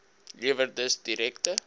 lewer dus direkte